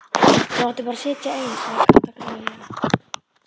Þú áttir bara að sitja ein sagði Kata gremjulega.